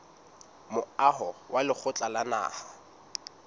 moaho wa lekgotla la naha